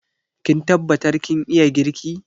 Kin tabbatar kin iya girki?